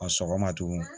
A sɔgɔma tugun